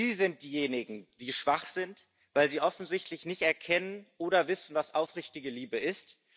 Sie sind diejenigen, die schwach sind, weil Sie offensichtlich nicht erkennen oder wissen, was aufrichtige Liebe ist.